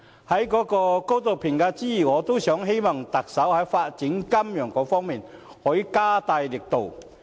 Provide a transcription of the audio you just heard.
此外，我希望特首在發展金融方面可以加大力度。